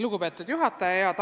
Lugupeetud juhataja!